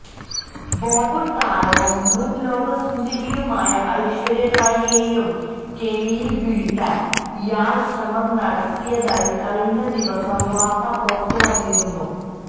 ബോളിവുഡ് താരവും മുന് ലോകസുന്ദരിയുമായ ഐശ്വര്യാ റായിയെയും കെണിയില് വീഴ്ത്താന് ഇയാള് ശ്രമം നടത്തിയതായി കഴിഞ്ഞദിവസം വാര്ത്ത പുറത്തുവന്നിരുന്നു